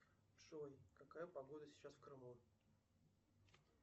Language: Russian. джой какая погода сейчас в крыму